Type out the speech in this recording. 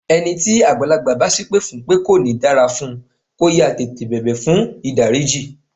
Ẹni tí àgbàlagbà bá sépè fún pé kò ní dára fún, kó yáá tètè bẹ̀bẹ̀ fùn ìdáríjì.